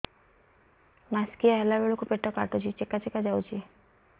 ମାସିକିଆ ହେଲା ବେଳକୁ ପେଟ କାଟୁଚି ଚେକା ଚେକା ଯାଉଚି